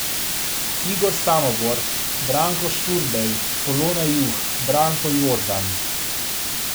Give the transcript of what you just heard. Igor Samobor, Branko Šturbej, Polona Juh, Branko Jordan ...